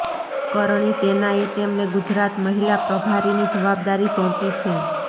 કરણી સેનાએ તેમને ગુજરાત મહિલા પ્રભારીની જવાબદારી સોંપી છે